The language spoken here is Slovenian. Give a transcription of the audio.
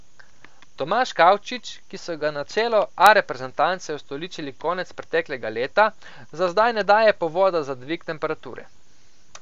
Tomaž Kavčič, ki so ga na čelo A reprezentance ustoličili konec preteklega leta, za zdaj ne daje povoda za dvig temperature.